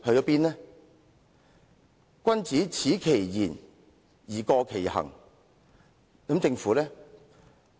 所謂君子耻其言而過其行，政府又如何呢？